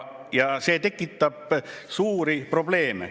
Ja see tekitab suuri probleeme.